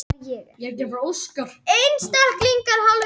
Það er þessi spurn og bending sem kemur hreyfingu á borðhaldið.